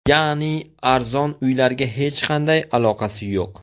Ya’ni arzon uylarga hech qanday aloqasi yo‘q.